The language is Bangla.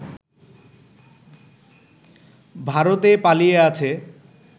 ভারতে পালিয়ে আছে